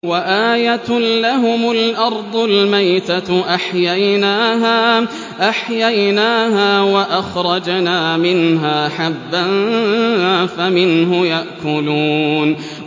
وَآيَةٌ لَّهُمُ الْأَرْضُ الْمَيْتَةُ أَحْيَيْنَاهَا وَأَخْرَجْنَا مِنْهَا حَبًّا فَمِنْهُ يَأْكُلُونَ